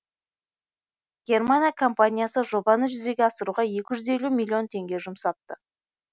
германия компаниясы жобаны жүзеге асыруға екі жүз елу миллион теңге жұмсапты